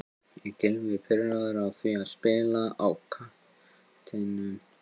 Er Gylfi pirraður á því að spila á kantinum?